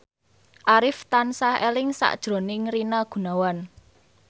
Arif tansah eling sakjroning Rina Gunawan